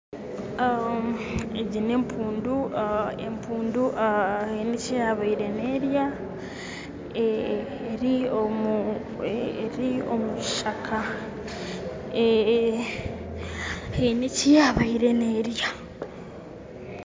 Egi n'empundu, empundu eyine eki yaabire n'erya, eri omukishaka, haine eki yaabaire n'erya.